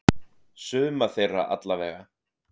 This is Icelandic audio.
Suma þeirra allavega.